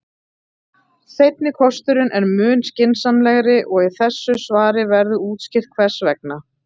Seinni kosturinn er mun skynsamlegri og í þessu svari verður útskýrt hvers vegna.